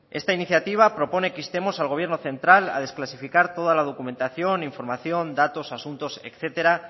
esta iniciativa propone que instemos al gobierno central a desclasificar toda la documentación información datos asuntos etcétera